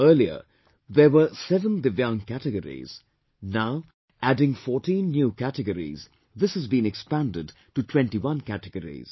Earlier there were seven Divyaang categories; now adding fourteen new categories this has been expanded to twentyone categories